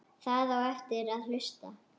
Það á eftir að hlusta.